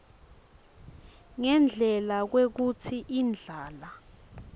ngendlela kwekutsi indlala